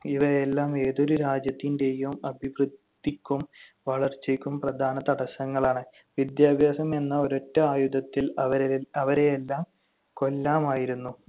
ഇവയെല്ലാം ഏതൊരു രാജ്യത്തിന്‍റെയും അഭിവൃദ്ധിക്കും വളർച്ചയ്ക്കും പ്രധാന തടസ്സങ്ങളാണ്. വിദ്യാഭ്യാസം എന്ന ഒരൊറ്റ ആയുധത്തിൽ അവരെ~ അവരെയെല്ലാം കൊല്ലാമായിരുന്നു.